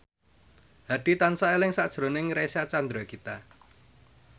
Hadi tansah eling sakjroning Reysa Chandragitta